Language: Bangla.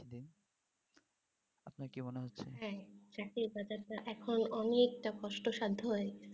হ্যাঁ চাকরির বাজারটা এখন অনেক টা কস্টসাধ্য